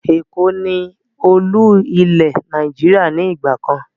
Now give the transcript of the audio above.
Èkó ni Olú-ilẹ̀ Nàìjíríà ni ìgbàkan